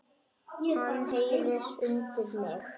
Hann heyrir undir mig.